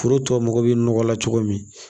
Foro tɔ mago bɛ nɔgɔ la cogo min